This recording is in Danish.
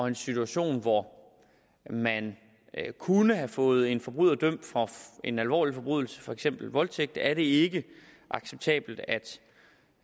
en situation hvor man kunne have fået en forbryder dømt for en alvorlig forbrydelse for eksempel voldtægt er det ikke acceptabelt